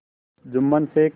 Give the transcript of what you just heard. Jumman Sheikh